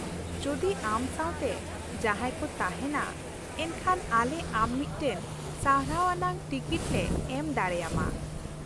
ᱡᱩᱫᱤ ᱟᱢ ᱥᱟᱶᱛᱮ ᱡᱟᱦᱟᱸᱭ ᱠᱚ ᱛᱟᱦᱮᱱᱟ ᱮᱱᱠᱷᱟᱱ ᱟᱞᱮ ᱟᱢ ᱢᱤᱫᱴᱟᱝ ᱥᱟᱨᱦᱟᱣ ᱟᱱᱟᱜ ᱴᱤᱠᱤᱴ ᱞᱮ ᱮᱢ ᱫᱟᱲᱮᱭᱟᱢᱟ ᱾